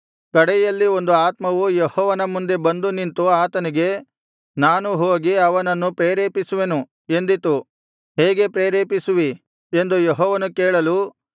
ಕಡೆಯಲ್ಲಿ ಒಂದು ಆತ್ಮವು ಯೆಹೋವನ ಮುಂದೆ ಬಂದು ನಿಂತು ಆತನಿಗೆ ನಾನು ಹೋಗಿ ಅವನನ್ನು ಪ್ರೇರೇಪಿಸುವೆನು ಎಂದಿತು ಹೇಗೆ ಪ್ರೇರೇಪಿಸುವಿ ಎಂದು ಯೆಹೋವನು ಕೇಳಲು